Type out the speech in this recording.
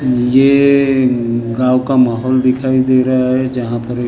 ये गांव का माहौल दिखाई दे रहा हैं जहा पर टीचर ।